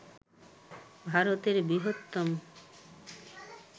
ভারতের বৃহত্তম